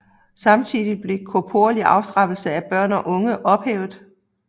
Samtidig blev korporlig afstraffelse af børn og unge ophævet